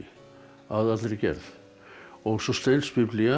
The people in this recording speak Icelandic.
að allri gerð og svo